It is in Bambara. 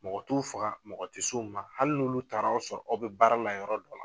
Mɔgɔ t'u faga mɔgɔ tɛ s'u ma hali n'olu taara sɔrɔ aw bɛ baara la yɔrɔ dɔ la.